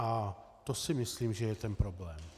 A to si myslím, že je ten problém.